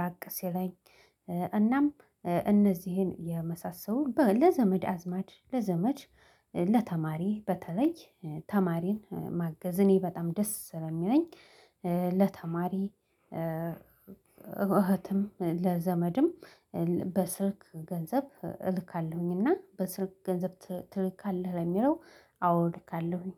ራቅ ሲለኝ እናም እነዚህን የመሳሰሉ ለዘመድ አዝማድ ለዘመድ ለተማሪ በተለይ ተማሪን ማገዝ እኔ በጣም ደስ ስለሚለኝ ለተማሪ እህትም ለዘመድም በስልክ ገንዘብ እልካለሁኝ። እና በስልክ ገንዘብ ትልካለህ ለሚለው አወ እልካለሁኝ